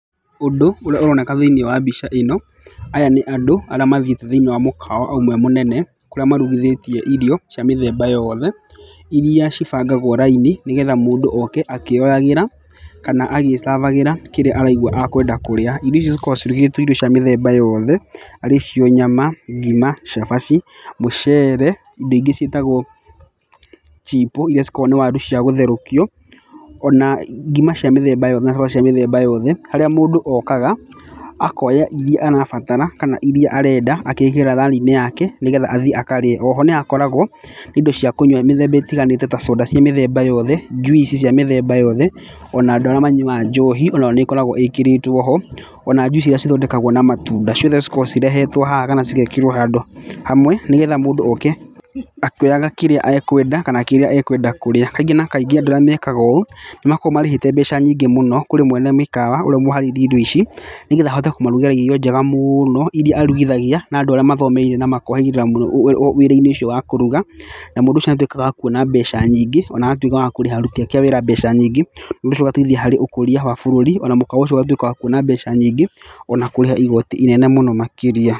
Ũndũ ũrĩa ũroneka thĩinĩ wa mbica ĩno aya nĩ andũ arĩa mathiĩte thĩinĩ wa mũkawa ũmwe mũnene kũrĩa marugithĩtie irio cia mĩthemba yothe, iria ibangagwo raini nĩgetha mũndũ oke akĩyoeraga kana agĩsabagĩra kĩrĩa araigwa akwenda kũrĩa. Irio icio cikoragwo cirugĩtwo irio cia mĩthemba yothe arĩ cio nyama, ngima, cabaci, mũcere indo ingĩ ciĩtagwo chipo iria ikoragwo nĩ waru cia gũtherũkio, ona ngima cia mĩthemba yothe na cabaci cia mĩthemba yothe. Harĩa mũndũ okaga akoya iria arabatara kana iria arenda agekĩra thani yake nĩgetha athiĩ akarĩe. Oho nĩhakoragwo na indo cia kũnywa ta soda mĩthemba yothe, juici cia mĩthemba yothe. Ona andũ arĩa manyuaga njohi onayo nĩkoragwo ĩkĩrĩtwo ho, ona juici iria ithondekgwo na matunda ciothe cikoragwo cirehetwo haha kana igekĩrwo handũ hamwe nĩgetha mũndũ oke akĩoyaga kĩrĩa akwenda kana kĩrĩa akwenda kũrĩa. Kaingĩ na kaingĩ andũ arĩa mekaga ũũ nĩmakoragwo marĩhĩte mbeca nyingĩ mũno kũrĩ mwene mĩkawa na ũrĩa ũharĩirie indo ici nĩgetha ahote kũmarugĩra indo njega mũno iria arugithagia na andũ arĩa mohĩgĩrĩire mũno mwena-inĩ ũcio wa kũruga na mũndũ ũcio nĩatuĩkaga wa kuona mbeca nyingĩ ona agatuĩka wa kũrĩha aruti ake a wĩra mbeca nyingĩ. Ũndũ ũcio ũgateithia harĩ ũkũria wa bũrũri ona mũkawa ũcio ũgatuĩka wa kuona mbeca nyingĩ ona kũrĩha igoti inene makĩria.